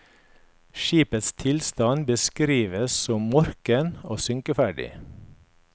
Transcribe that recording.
Skipets tilstand beskrives som morken og synkeferdig.